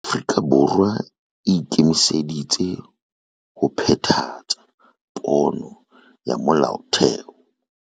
Afrika Borwa e ikemiseditse ho phethahatsa pono ya Molaotheo